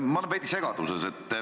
Ma olen veidi segaduses.